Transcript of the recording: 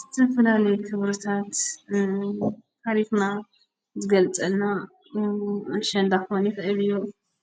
ዝተፈላለየ ክብርታት ታሪኽና ዝገልፀልና ኣሸንዳ ክኸውን ይኽእል እዩ፡፡